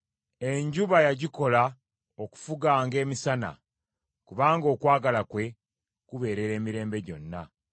Enjuba yagikola okufuganga emisana, kubanga okwagala kwe kubeerera emirembe gyonna.